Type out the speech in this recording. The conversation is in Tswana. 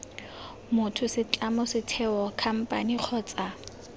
motho setlamo setheo khamphane kgotsa